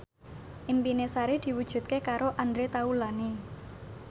impine Sari diwujudke karo Andre Taulany